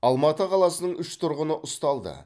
алматы қаласының үш тұрғыны ұсталды